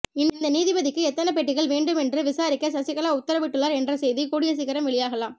இந்த நீதிபதிக்கு எத்தனை பெட்டிகள் வேண்டும் என்று விசாரிக்க சகிகலா உததரவு இட்டுள்ளார் என்ற செய்தி கூடிய சீக்கிரம் வெளியாகலாம்